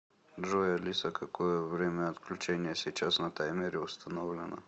джой алиса какое время отключения сейчас на таймере установлено